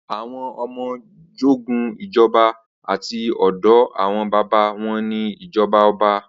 Awọn ọmọ jogún ìjọba láti ọ̀dọ̀ àwọn baba wọn ni ijọba ọba